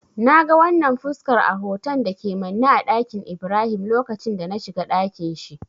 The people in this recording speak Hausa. Na ga wannan fuskar a hoton da ke manne a ɗakin Ibrahim lokacin da na shiga dakin shi.